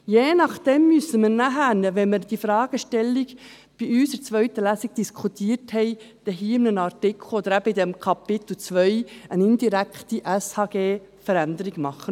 Je nach dem müssen wir nachher – wenn wir die Fragestellung in der zweiten Lesung diskutiert haben – in einem Artikel oder unter Kapitel II eine indirekte Änderung des SHG vornehmen.